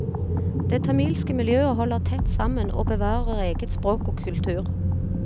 Det tamilske miljøet holder tett sammen og bevarer eget språk og kultur.